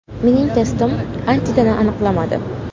“Mening testim antitana aniqlamadi”.